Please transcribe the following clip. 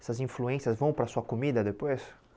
Essas influências vão para a sua comida depois?